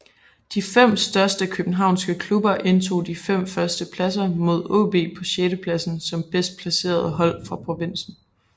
De fem største københavnske klubber indtog de fem første pladser med AaB på sjettepladsen som bedst placerede hold fra provinsen